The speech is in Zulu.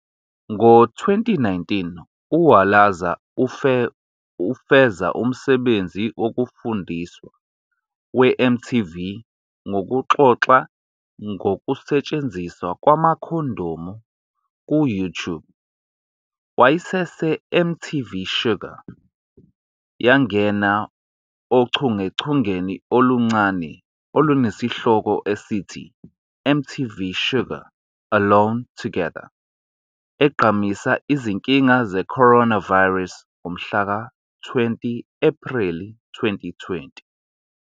Ngo-2019 uWalaza ufeza umsebenzi wokufundisa we-MTV ngokuxoxa ngokusetshenziswa kwamakhondomu ku-YouTube."WayeseseMTV Shuga" yangena ochungechungeni oluncane olunesihloko esithi MTV Shuga Alone Together egqamisa izinkinga zeCoronavirus ngomhlaka 20 Ephreli 2020.